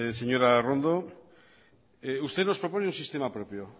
señora arrondo usted nos propone un sistema propio